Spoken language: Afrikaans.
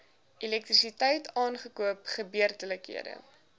elektrisiteit aankope gebeurlikhede